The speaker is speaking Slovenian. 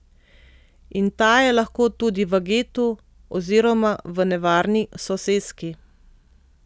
In ta je lahko tudi v getu oziroma v nevarni soseski.